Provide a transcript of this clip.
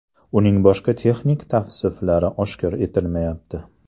Uning boshqa texnik tavsiflari oshkor etilmayapti.